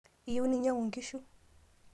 iyieu ninyangu nkishu